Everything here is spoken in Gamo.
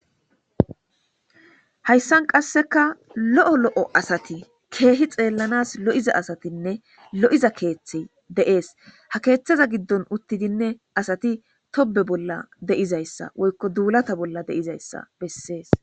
Hayssan qasseka lo'o asati,keehi xeelanas lo'za asatinne lo'iza keethi de'ees. Ha keetheza giddon uttidine asati tobbe bolla de'izaysa woyko duulata bolla de'izayssa besees.